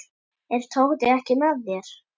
Er Tóti ekki með þér?